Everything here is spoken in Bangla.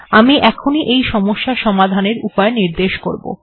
আমি এখনই এই সমস্যা সমাধানের উপায় নির্দেশ করব